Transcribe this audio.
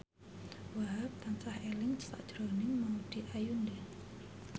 Wahhab tansah eling sakjroning Maudy Ayunda